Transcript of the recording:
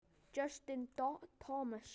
Justin Thomas.